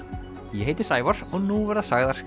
ég heiti Sævar og nú verða sagðar